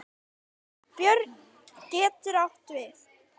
Björn getur átt við